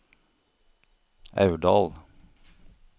Aurdal